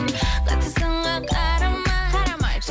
қатты сынға қарамай қарамай